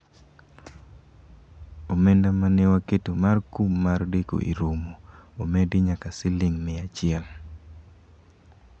omenda mane waketo mar kum mar deko e romo omedi nyaka siling mia achiel